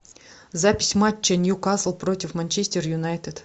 запись матча ньюкасл против манчестер юнайтед